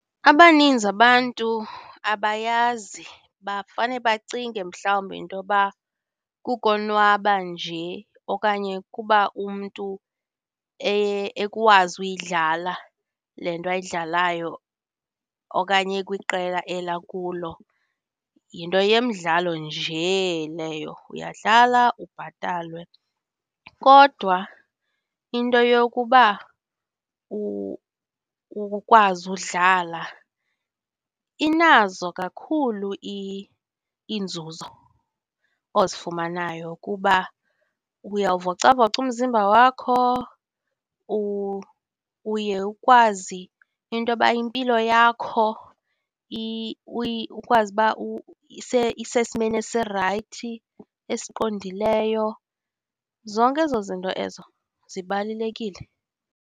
Abaninzi abantu abayazi, bafane bacinge mhlawumbi into yoba kukonwaba nje okanye kuba umntu ekwazi uyidlala le nto ayidlalayo okanye ekwiqela eli akulo yinto yemidlalo nje leyo, uyadlala, ubhatalwe. Kodwa into yokuba ukwazi ukudlala inazo kakhulu iinzuzo ozifumanayo kuba uyawuvocavoca umzimba wakho, uye ukwazi into yoba impilo yakho ukwazi uba isesimeni esirayithi, esiqondileyo, zonke ezo zinto ezo zibalulekile.